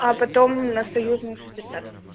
а потом на союзную шестьдесят